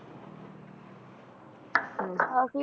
ਹਮ ਕਾਫ਼ੀ